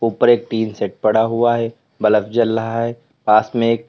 ऊपर एक tin shed पड़ा हुआ है बलफ जल रहा है पास में ये--